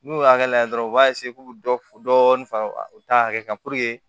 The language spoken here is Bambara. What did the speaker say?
N'u y'o hakɛ lajɛ dɔrɔn u b'a k'u bɛ dɔ dɔɔni fara u ta hakɛ kan